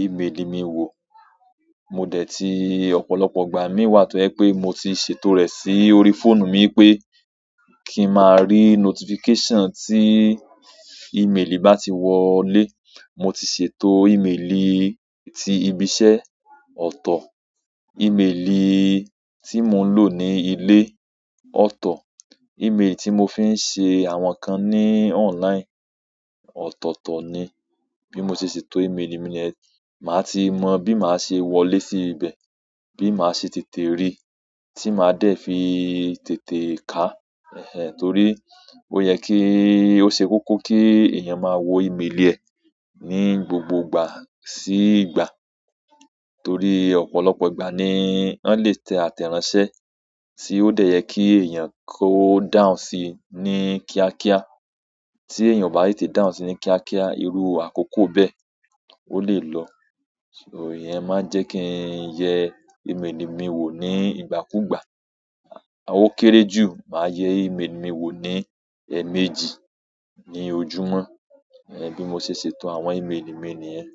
ìméèlì mi wò. Mò dẹ̀ tí ọ̀pọ̀lọpọ̀ ìgbà mií wà tó jẹ pé mo ti ṣètò rẹ̀ sí orí fóònù mi pé kí ń máa rí notification tí ìméèlì bá ti wọlé. Mo ti ṣètò ìméèlì tí ibi iṣẹ́, ọ̀tọ̀, ìméèlì tí mò ń lò ní ilé, ọ̀tọ̀, ìméèlì tí mò fi ń ṣe àwọn kan ní online, ọ̀tọ̀ọ̀tọ̀ ni. Bí mo ṣe ṣètò ìméèlì mi niyen màá ti mọ bí màá ṣe wọlé sí ibẹ̀, bí màá ṣe tètè rí, tí màá dẹ̀ fi tètè kaà. Ehn ehn, torí ó yẹ kí ó ṣe kókó kí èèyàn máa wo ìméèlì ẹ̀ ní gbogbo ìgbà sí ìgbà. Torí ọ̀pọ̀lọpọ̀ ìgbà ni wọ́n lè tẹ àtẹ̀ránsẹ́ tí ó dẹ̀ yẹ kí èèyàn kó dáhùn sii ní kíákíá. Tí èèyàn o ba tètè dáhùn si ní kíákíá, irú àkókò bẹ́ẹ̀ ó lè lọ. So ìyẹn máa ń jẹ́ kí n yẹ ìméèlì mi wò ní ìgbàkúgbà. O kéré jù, màá yẹ ìméèlì mi wò ní eẹméjì ní ojúmọ́. Ehn, bí mo ṣe ṣètò àwọn ìméèlì mi nìyẹn.